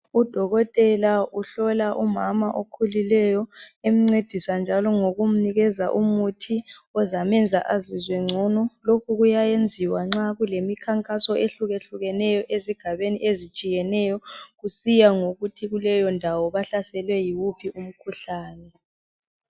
Udokotela uhlola umama okhulileyo emncedisa njalo ngokumnikeza umuthi ozamenza azizwe ngcono. Lokhu kuyayenziwa nxa kulemikhankaso ehlukehlukeneyo ezigabeni ezitshiyeneyo kusiya ngokuthi kuleyondawo bahlaselwe yiwuphi umkhuhlane.